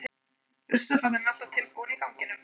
Ruslafatan er alltaf tilbúin í ganginum.